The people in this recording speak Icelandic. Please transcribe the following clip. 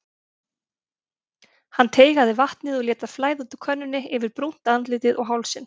Hann teygaði vatnið og lét það flæða út úr könnunni yfir brúnt andlitið og hálsinn.